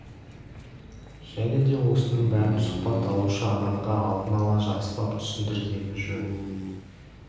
және де осының бәрін сұхбат алушы адамға алдын ала жақсылап түсіндіргені жөн